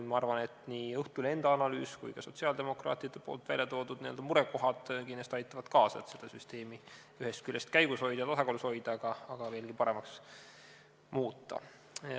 Ma arvan, nii Õhtulehe enda analüüs kui ka sotsiaaldemokraatide toodud murekohad aitavad kindlasti kaasa, et seda süsteemi käigus hoida ja tasakaalus hoida, aga ka veelgi paremaks muuta.